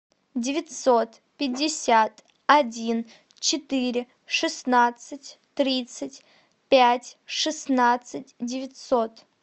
девятьсот пятьдесят один четыре шестнадцать тридцать пять шестнадцать девятьсот